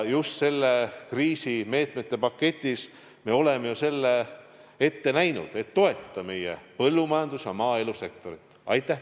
Just kriisimeetmete paketis me oleme selle ette näinud, et toetada meie põllumajandus- ja maaelusektorit.